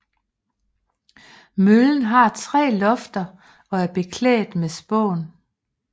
Møllen har tre lofter og er beklædt med spån